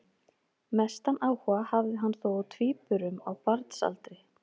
Mestan áhuga hafði hann þó á tvíburum á barnsaldri.